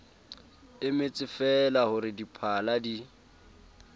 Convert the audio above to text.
emetsefeela ho re diphala di